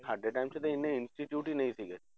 ਸਾਡੇ time 'ਚ ਤਾਂ ਇੰਨੇ institute ਹੀ ਨੀ ਸੀਗੇ